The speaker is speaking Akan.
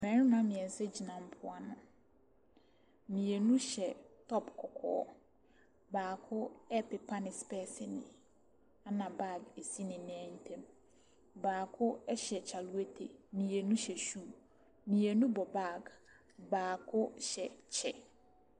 Mmarima mmeɛnsa gyina mpoano. Mmienu hyɛ top kɔkɔɔ. Baako repepa ne specs ani, ɛnna bag si ne nan ntam. Baako hyɛ kyalewote, mmienu hyɛ shoe. Mmienu bɔ bag, baako hyɛ kyɛ.